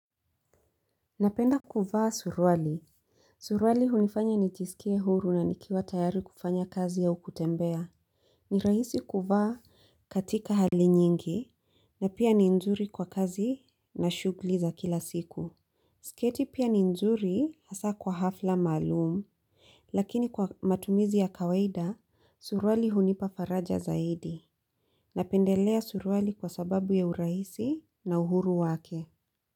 Napenda kuvaa suruali. Suruali hunifanya nijisikie huru na nikiwa tayari kufanya kazi au kutembea. Ni rahisi kuvaa katika hali nyingi na pia ni nzuri kwa kazi na shughuli za kila siku. Siketi pia ni nzuri hasaa kwa hafla maalumu. Lakini kwa matumizi ya kawaida, suruali hunipa faraja zaidi. Napendelea suruali kwa sababu ya urahisi na uhuru wake.